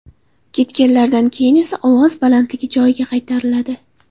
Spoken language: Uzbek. Ketganlaridan keyin esa ovoz balandligi joyiga qaytariladi.